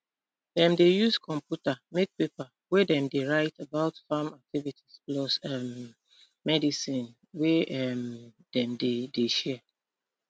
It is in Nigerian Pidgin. dem dey use computer make paper wey dem dey write about farm activities plus um medicine wey um dem dey dey share